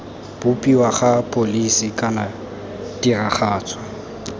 bopiwa ga pholisi kana tiragatso